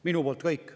Minu poolt kõik.